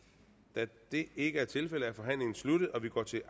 da det ikke er tilfældet er forhandlingen sluttet og vi går til